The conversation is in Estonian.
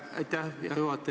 Aitäh, hea juhataja!